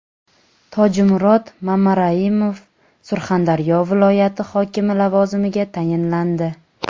Tojimurod Mamaraimov Surxondaryo viloyati hokimi lavozimiga tayinlandi.